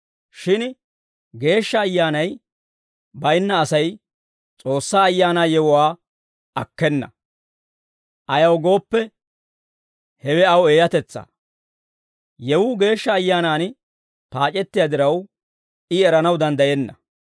Shin Geeshsha Ayyaanay baynna Asay S'oossaa Ayaanaa yewuwaa akkena; ayaw gooppe, hewe aw eeyatetsaa. Yewuu Geeshsha Ayyaanan paac'ettiyaa diraw, I eranaw danddayenna.